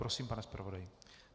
Prosím, pane zpravodaji.